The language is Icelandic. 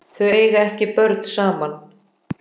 Þau eiga ekki börn saman.